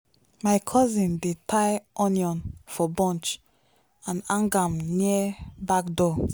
my cousin dey tie onion for bunch and hang am near back door.